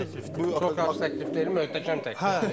Zirə məsəl üçün çox fantastik təklifdir, möhtəşəm təklifdir.